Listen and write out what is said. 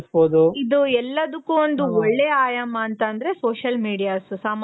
ಇದು ಎಲ್ಲದಕ್ಕು ಒಂದು ಒಳ್ಳೆ ಆಯಾಮ ಅಂತ ಅಂದ್ರೆ social medias ಸಾಮಾಜಿಕ ಜಾಲತಾಣ